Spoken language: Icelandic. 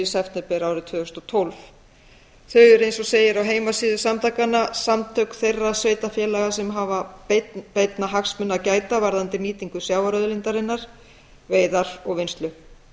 september árið tvö þúsund og tólf þau eru eins og segir á heimasíðu samtakanna samtök þeirra sveitarfélaga sem hafa beinna hagsmuna að gæta varðandi nýtingu sjávarauðlindarinnar veiðar og vinnslu